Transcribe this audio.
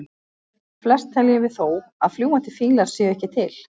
Flest teljum við þó að fljúgandi fílar séu ekki til.